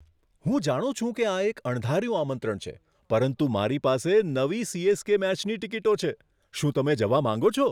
હું જાણું છું કે આ એક અણધાર્યું આમંત્રણ છે, પરંતુ મારી પાસે નવી સી.એસ.કે. મેચની ટિકિટો છે. શું તમે જવા માંગો છો?